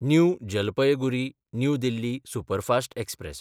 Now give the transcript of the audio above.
new जलपयगुरी–न्यू Delhi superfast express